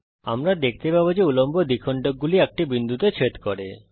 আমরা দেখতে পাবো যে উল্লম্ব দ্বিখণ্ডকগুলি একটি বিন্দুতে ছেদ করে